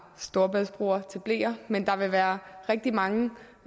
storebæltsbroer til bleer men der vil være rigtig mange